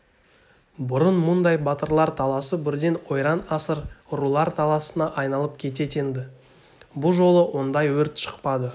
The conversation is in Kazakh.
бұрын мұндай батырлар таласы бірден ойран-асыр рулар таласына айналып кететін-ді бұ жолы ондай өрт шықпады